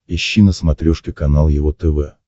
ищи на смотрешке канал его тв